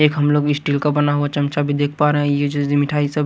एक हम लोग स्टील का बना हुआ चमचा भी देख पा रहे हैं ये जल्दी मिठाई सब--